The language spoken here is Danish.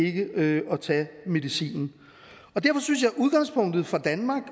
ikke at tage medicinen derfor synes jeg at udgangspunktet for danmark